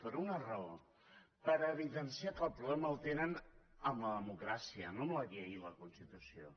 per una raó per evidenciar que el problema el tenen amb la democràcia no amb la llei i la constitució